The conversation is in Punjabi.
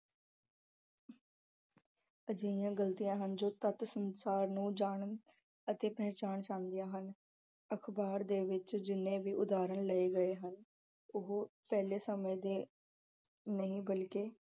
ਅਜਿਹੀਆਂ ਗਲਤੀਆਂ ਹਨ ਜੋ ਤੱਥ ਸੰਸਾਰ ਨੂੰ ਜਾਣ ਅਤੇ ਪਛਾਣ ਸਮਝਦਿਆਂ ਹਨ। ਅਖ਼ਬਾਰ ਦੇ ਵਿੱਚ ਜਿੰਨੇ ਵੀ ਉਦਾਹਰਣ ਲਏ ਗਏ ਹਨ। ਉਹ ਪਹਿਲੇ ਸਮੇਂ ਦੇ ਨਹੀਂ ਬਲਕਿ